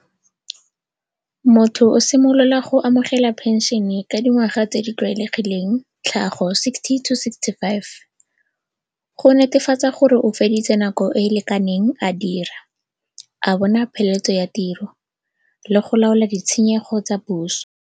Motho o simolola go amogela pension-e ka dingwaga tse di tlwaelegileng, tlhago sixty to sixty-five. Go netefatsa gore o feditse nako e lekaneng a dira a bona pheletso ya tiro le go laola ditshenyego tsa puso.